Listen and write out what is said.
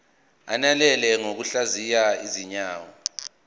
ananele ngokuhlaziya izinzwa